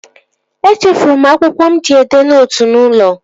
Echefuru m akwụkwọ mụ ji edee nootu n'ụlọ